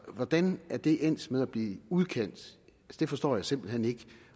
hvordan er det endt med at blive udkant det forstår jeg simpelt hen ikke